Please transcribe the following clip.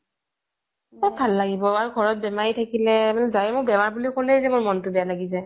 কত ভাল লাগিব আৰু ঘৰত বেমাৰী থাকিলে যাৰ এই হওক গাটো বেয়া বুলি ক'লে মনটো বেয়া লাগি যায়